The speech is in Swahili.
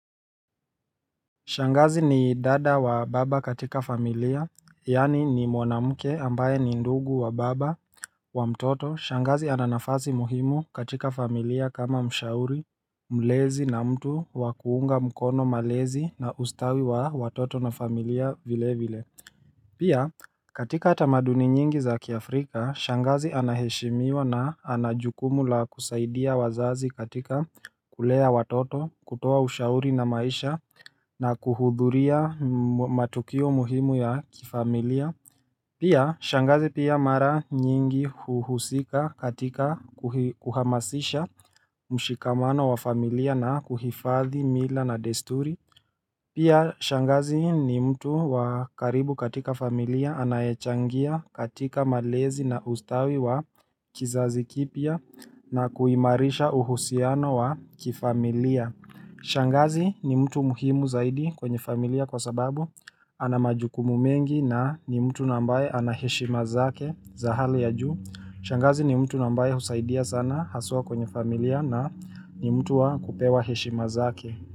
Shangazi ni dada wa baba katika familia, yaani ni mwamke ambaye ni ndugu wa baba wa mtoto. Shangazi ana nafasi muhimu katika familia kama mshauri, mlezi na mtu wakuunga mkono malezi na ustawi wa watoto na familia vile vile. Pia katika tamaduni nyingi za kiafrika shangazi anaheshimiwa na anajukumu la kusaidia wazazi katika kulea watoto kutoa ushauri na maisha na kuhudhuria matukio muhimu ya kifamilia Pia shangazi pia mara nyingi huhusika katika kuhamasisha mshikamano wa familia na kuhifadhi mila na desturi Pia shangazi ni mtu wakaribu katika familia anayechangia katika malezi na ustawi wa kizazi kipya na kuhimarisha uhusiano wa kifamilia. Shangazi ni mtu muhimu zaidi kwenye familia kwa sababu anamajukumu mengi na ni mtu na ambaye anaheshima zake za hali ya juu. Shangazi ni mtu na ambaye husaidia sana haswa kwenye familia na ni mtu wakupewa heshima zake.